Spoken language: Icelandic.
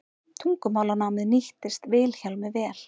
tungumálanámið nýttist vilhjálmi vel